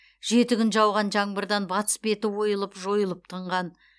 жеті күн жауған жаңбырдан батыс беті ойылып жойылып тынған